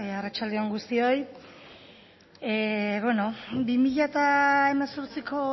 arratsalde on guztioi bi mila hemezortziko